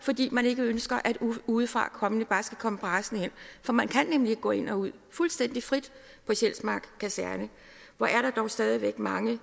fordi man ikke ønsker at udefrakommende bare skal komme brasende ind for man kan nemlig gå ind og ud fuldstændig frit på sjælsmark kaserne hvor er der dog stadig væk mange